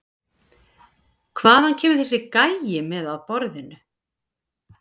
Hvað kemur þessi gæi með að borðinu?